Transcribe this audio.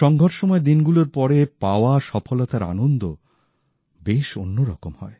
সঙ্ঘর্ষময় দিনগুলোর পরে পাওয়া সফলতার আনন্দ বেশ অন্যরকম হয়